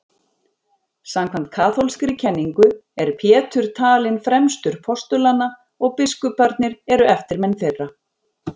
Samkvæmt kaþólskri kenningu er Pétur talinn fremstur postulanna og biskuparnir eru eftirmenn þeirra.